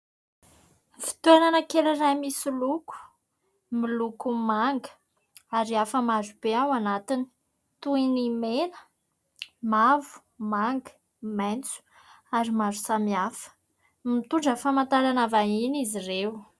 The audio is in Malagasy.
Fitoerana kely iray misy loko, miloko manga ary hafa maro be ao anatiny toy ny mena, mavo, manga, maitso ary maro samihafa. Mitondra famantarana vahiny izy ireo.